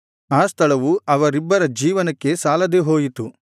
ಆ ಸ್ಥಳವು ಅವರಿಬ್ಬರ ಜೀವನಕ್ಕೆ ಸಾಲದೆ ಹೋಯಿತು